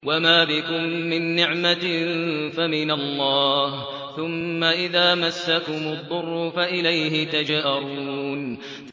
وَمَا بِكُم مِّن نِّعْمَةٍ فَمِنَ اللَّهِ ۖ ثُمَّ إِذَا مَسَّكُمُ الضُّرُّ فَإِلَيْهِ تَجْأَرُونَ